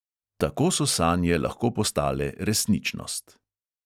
Tako so sanje lahko postale resničnost.